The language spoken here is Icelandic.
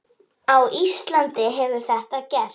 Á Íslandi hefur þetta gerst.